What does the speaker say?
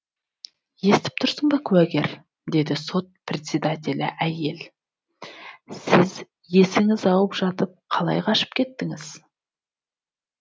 естіп тұрсың ба куәгер деді сот председателі әйел сіз есіңіз ауып жатып қалай қашып кеттіңіз